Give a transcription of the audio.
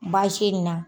Baasi in na